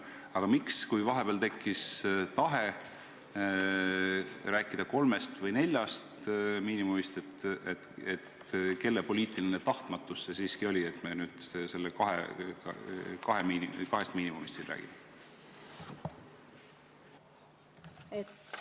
Aga kui vahepeal tekkis tahe rääkida kolmest või neljast miinimumist, kelle poliitiline tahtmatus see siiski oli, et me nüüd kahest miinimumist siin räägime?